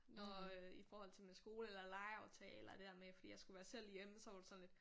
Nåh øh i forhold til min skole eller legeaftaler det der med fordi jeg skulle være selv hjemme så var hun sådan lidt